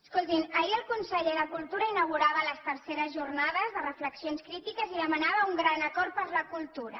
escoltin ahir el conseller de cultura inaugurava les iii jornades de reflexions crítiques i demanava un gran acord per la cultura